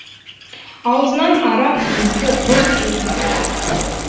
аузынан арақ иісі бұрқ етті